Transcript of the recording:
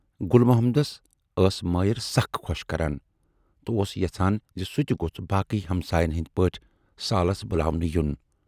گُل محمدس ٲس مایِر سخ خۅش کَران تہٕ اوس یَژھان زِ سُہ تہِ گوژھ باقٕے ہمسایَن ہٕندۍ پٲٹھۍ سالس بُلاونہٕ یُن۔